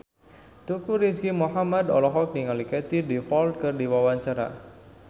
Teuku Rizky Muhammad olohok ningali Katie Dippold keur diwawancara